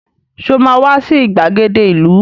Sọ ma wá sí ìgbàgede ìlú?